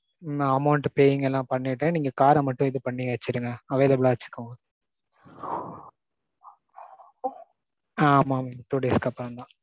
amount paying எல்லாம் பண்ணிட்டு நீங்க car ர மட்டும் இது பண்ணி வச்சுருங்க. available லா வச்சுக்கோங்க. ஆ ஆமாம் mam two days க்கு அப்புறம் தான்.